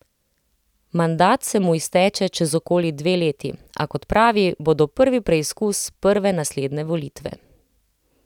Mandat se mu izteče čez okoli dve leti, a kot pravi, bodo prvi preizkus prve naslednje volitve.